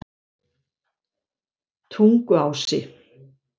Tunguási